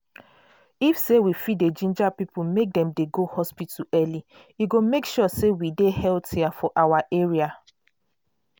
if say we fit dey ginger people make dem go hospital early e go make sure say we go dey healthier for our area.